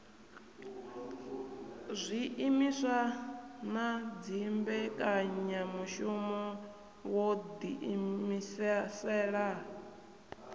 zwiimiswa na dzimbekanyamushumo wo ḓiimisela